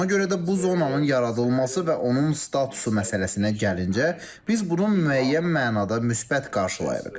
Ona görə də bu zonanın yaradılması və onun statusu məsələsinə gəlincə, biz bunu müəyyən mənada müsbət qarşılayırıq.